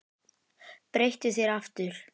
Breyttu þér aftur!